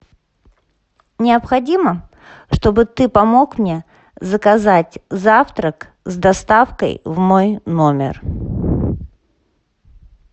необходимо чтобы ты помог мне заказать завтрак с доставкой в мой номер